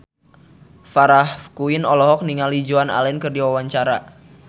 Farah Quinn olohok ningali Joan Allen keur diwawancara